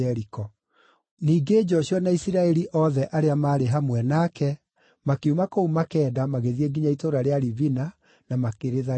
Ningĩ Joshua na Isiraeli rĩothe arĩa maarĩ hamwe nake makiuma kũu Makeda magĩthiĩ nginya itũũra rĩa Libina na makĩrĩtharĩkĩra.